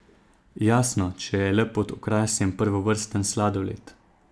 Jasno, če je le pod okrasjem prvovrsten sladoled.